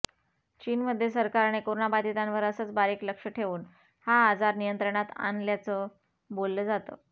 चीनमध्ये सरकारने कोरोनाबाधितांवर असंच बारीक लक्ष ठेवून हा आजार नियंत्रणात आणल्याचं बोललं जातं